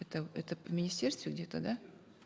это это в министерстве где то да